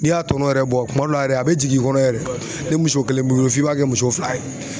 N'i y'a tɔnɔn yɛrɛ bɔ kuma dɔ la yɛrɛ a bɛ jigin i kɔnɔ yɛrɛ ni muso kelen b'i bolo f'i b'a kɛ muso fila ye.